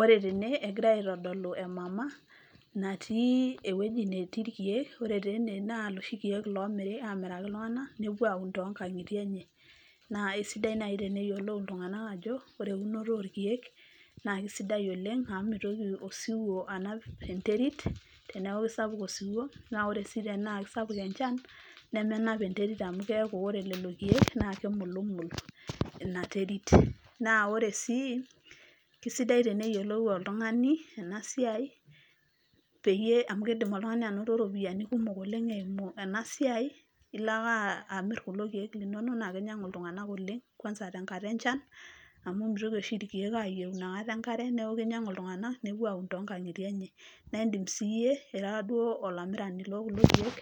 ore tene egirai aitodolu ee mama natii ewueji natii irkeek. ore taa ene naa iloshi keek omiri amiraki iltung'anak nepuo aun too nkang'itie enye. naa isidai naaji teneyiolou iltung'anak ajo, ore eunoto oo irkeek na keisidai oleng' amu meitoki osiwuo anap enterit te neaku sapuk osiwuo naa ore sii tenaa keisapuk enchan nemenap enterit amu keaku ore lelo keek naa keimulumul ina terit. naa ore sii keisidai teneyiolou oltung'ani ena siai amu keidim oltung'ani anoto iropiyiani kumok oleng' eimu ena siai ilo ake amir kulo keek linonok naa kenyang'u iltung'anak oleng' kwanza tenkata enchan. amu meitoki oshi irkeek ayieu inakata enkare neaku kenyang'u iltung'ak nepuo aun too nkang'itie enye naa indim sii iyie ira duo olamirani loo kulo keek